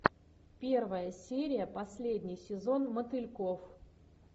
первая серия последний сезон мотыльков